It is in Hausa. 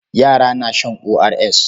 Yara na shan ORS.